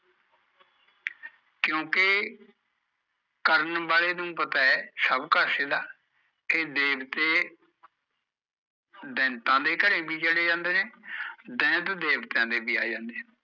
ਕਿਓਕਿ ਕਰਨ ਵਾਲੇ ਨੂ ਪਤਾ ਐ ਸਭ ਕਾਸੇ ਦਾ, ਇਹ ਦੇਵਤੇ ਦੈਤਾ ਦੇ ਘਰੇ ਵੀ ਚਲੈ ਜਾਂਦੇ ਨੇ ਦੈਂਤ ਦੇਵਤਿਆ ਦੇ ਵੀ ਆ ਜਾਂਦੇ ਨੇ